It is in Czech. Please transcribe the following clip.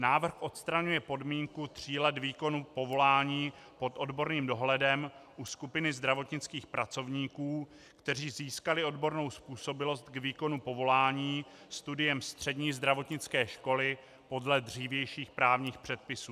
Návrh odstraňuje podmínku tří let výkonu povolání pod odborným dohledem u skupiny zdravotnických pracovníků, kteří získali odbornou způsobilost k výkonu povolání studiem střední zdravotnické školy podle dřívějších právních předpisů.